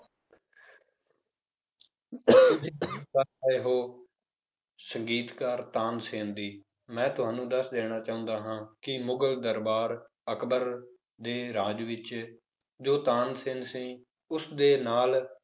ਰਹੇ ਹੋ ਸੰਗੀਤਕਾਰ ਤਾਨਸੇਨ ਦੀ ਮੈਂ ਤੁਹਾਨੂੰ ਦੱਸ ਦੇਣਾ ਚਾਹੁੰਦਾ ਹਾਂ ਕਿ ਮੁਗਲ ਦਰਬਾਰ ਅਕਬਰ ਦੇ ਰਾਜ ਵਿੱਚ ਜੋ ਤਾਨਸੇਨ ਸੀ ਉਸਦੇ ਨਾਲ